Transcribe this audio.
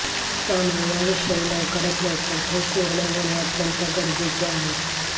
त्यामुळे याविषयी लवकरात लवकर ठोस निर्णय होणे अत्यंत गरजेचे आहे